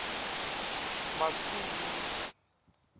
masungi